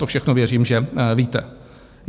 To všechno věřím, že víte.